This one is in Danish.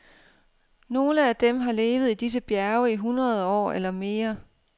Nogle af dem har levet i disse bjerge i hundrede år eller mere.